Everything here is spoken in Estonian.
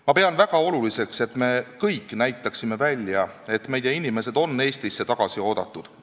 Ma pean väga oluliseks, et me kõik näitaksime välja, et meie inimesed on Eestisse tagasi oodatud.